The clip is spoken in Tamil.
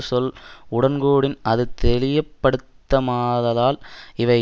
சொல் உடன்கூடின் அது தெளியப்படுத்தமாததால் இவை